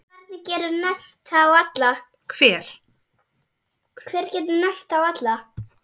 Hver getur nefnt þá alla?